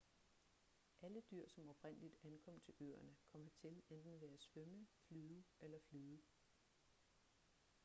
alle dyr som oprindeligt ankom til øerne kom hertil enten ved at svømme flyve eller flyde